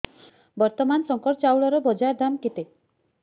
ବର୍ତ୍ତମାନ ଶଙ୍କର ଚାଉଳର ବଜାର ଦାମ୍ କେତେ